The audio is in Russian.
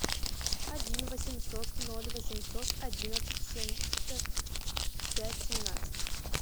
один восемьсот ноль восемьсот одиннадцать семьдесят пять семнадцать